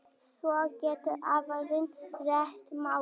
Svo geti aðrir rætt málin.